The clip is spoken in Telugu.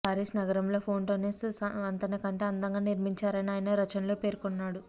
పారిస్ నగరంలో ఫోంట్ నెఫ్ వంతెనకంటే అందంగా నిర్మించారని ఆయన రచనల్లో పేర్కొన్నాడు